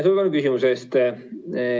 Suur tänu küsimuse eest!